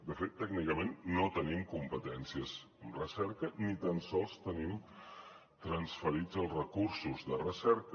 de fet tècnicament no tenim competències en recerca ni tan sols tenim transferits els recursos de recerca